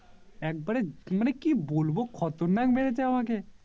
একবারে অরে কি বলবো খতরনাক মেরেছে আমাকে